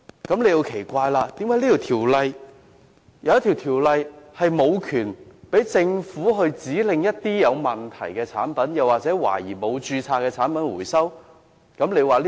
大家會奇怪，為何《條例》並無賦權政府指令回收有問題或懷疑沒有註冊的產品？